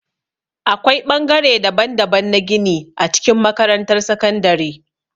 Akwai ɓangare daban-daban na gini a cikin makarantar sakandare.